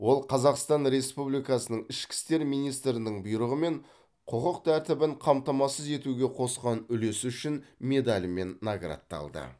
ол қазақстан республикасының ішкі істер министрінің бұйрығымен құқық тәртібін қамтамасыз етуге қосқан үлесі үшін медалімен наградталды